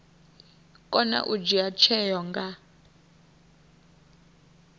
kona u dzhia tsheo nga